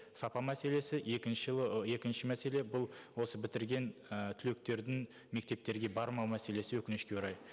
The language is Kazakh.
сапа мәселесі екінші ы екінші мәселе бұл осы бітірген і түлектердің мектептерге бармау мәселесі өкінішке орай